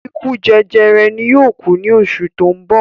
Ikú jẹjẹrẹ ni yóò ku ní oṣù ti oun bo